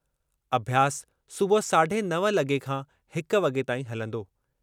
अभ्यास सुबुह साढे नव लगे॒ खां हिक वगे॒ ताईं हलंदो।